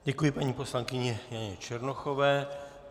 Děkuji paní poslankyni Janě Černochové.